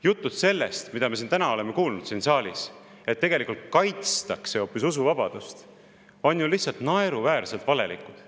Jutud, mida me täna siin saalis oleme kuulnud, et tegelikult hoopis kaitstakse usuvabadust, on lihtsalt naeruväärselt valelikud.